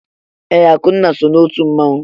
Ee, Akụnna so n'otu mmanwụ.